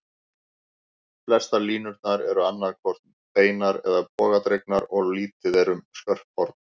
Flestar línurnar eru annað hvort beinar eða bogadregnar, og lítið er um skörp horn.